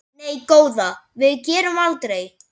Nei góða, við gerum aldrei.